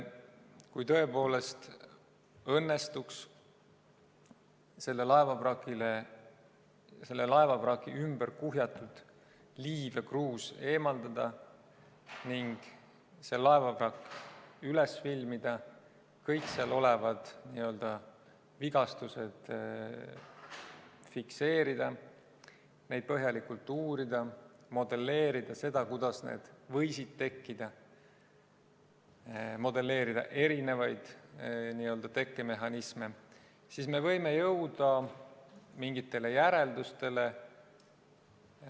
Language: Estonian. Kui tõepoolest õnnestuks minna selle laevavraki juurde, vraki ümber kuhjatud liiv ja kruus eemaldada ning laevavrakk üles filmida, kõik seal olevad vigastused fikseerida, neid põhjalikult uurida, modelleerida seda, kuidas need võisid tekkida, modelleerida erinevaid tekkemehhanisme, siis me võime jõuda mingitele järeldustele.